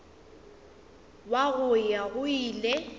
wa go ya go ile